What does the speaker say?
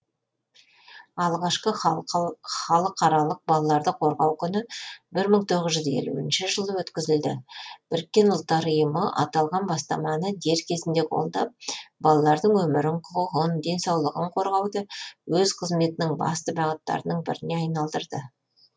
алғашқы халықаралық балаларды қорғау күні бір мың тоғыз жүз елуінші жылы өткізілді біріккен ұлттар ұйымы аталған бастаманы дер кезінде қолдап балалардың өмірін құқығын денсаулығын қорғауды өз қызметінің басты бағыттарының біріне айналдырды